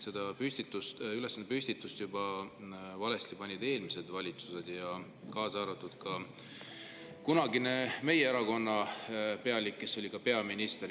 Selle ülesande püstitasid valesti juba eelmised valitsused, kaasa arvatud meie erakonna kunagine pealik, kes oli ka peaminister.